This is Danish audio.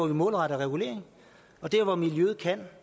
en målrettet regulering og der hvor miljøet kan